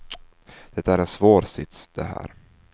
Det är en svår sits, det här.